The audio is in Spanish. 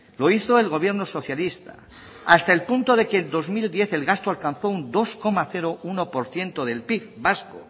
lo hizo el gobierno socialista hasta el punto de que en dos mil diez el gasto alcanzó un dos coma uno por ciento del pib vasco